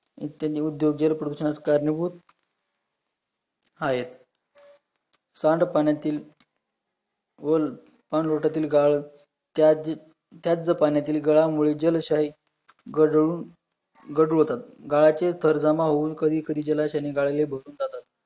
सांडपाण्यातील वोल सांडलोटातील गाळण त्याचे त्याच पाण्यातील गदामोडी जालशाही घडूळ घडू होतात, गाळाचे थर जमा होऊन कधी कधी जलाशायाने गाळे लई बसून जातात